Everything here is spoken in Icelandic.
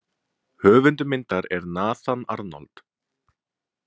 Höfundur myndar er Nathan Arnold.